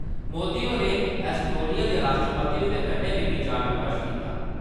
मोदी होरें एसटोनिया दे राश्ट्रपति हुंदे कन्नै बी बिचार-विमर्श कीता ।